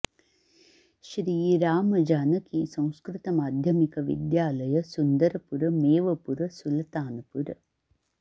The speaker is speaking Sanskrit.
श्री राम जानकी संस्कृत माध्यमिक विद्यालय सुन्दरपुर मेवपुर सुलतानपुर